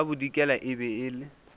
ka bodikela e be e